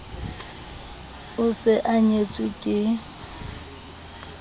o se a nyetswe ke